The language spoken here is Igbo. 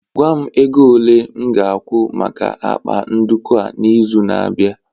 gwa m ego ole m ga-akwụ maka akpa nduku a n'izu na-abịa